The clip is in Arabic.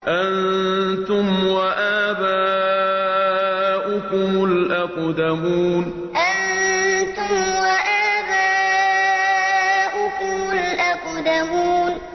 أَنتُمْ وَآبَاؤُكُمُ الْأَقْدَمُونَ أَنتُمْ وَآبَاؤُكُمُ الْأَقْدَمُونَ